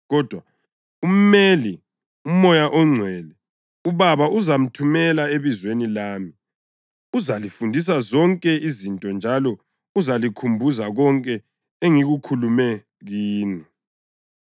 Kodwa uMeli, uMoya ONgcwele, uBaba azamthumela ebizweni lami, uzalifundisa zonke izinto njalo uzalikhumbuza konke engikukhulume kini.